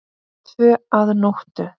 Tvö að nóttu